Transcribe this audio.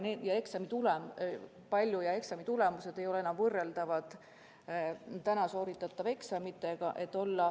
Need eksamid ei ole enam võrreldavad praegu sooritatavate eksamitega.